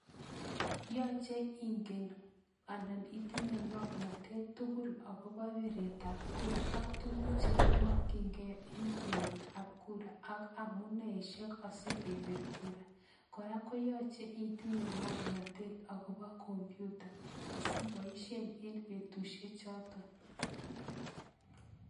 Yache ingen anan itinye ng'omnatet tugul akobo piret ab kura ak tukuk chekimakchinkei eng piret AK kura ak amuneishek asikepir kura kora koyache itinye ng'omnatet akobo kompyuta asiboishe eng betushe chotok.